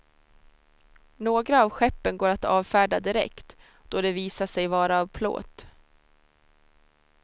Några av skeppen går att avfärda direkt då de visar sig vara av plåt.